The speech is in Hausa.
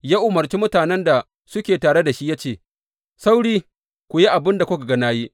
Ya umarci mutanen da suke tare da shi ya ce, Sauri, ku yi abin da kuka ga na yi!